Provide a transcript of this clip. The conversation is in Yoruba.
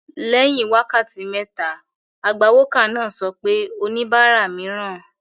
Lẹ́yìn wákàtí méta, agbawókà náà sọ pé ' oníbàárà mìíràn